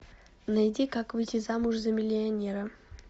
найди как выйти замуж за миллионера